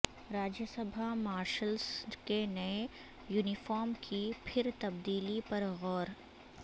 راجیہ Sabha marshals کے نئے uniform کی پھر تبدیلی پر غور